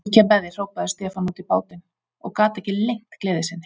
Ég kem með þér, hrópaði Stefán út í bátinn og gat ekki leynt gleði sinni.